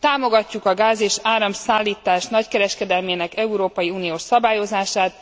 Támogatjuk a gáz és áramszállítás nagykereskedelmének európai uniós szabályozását,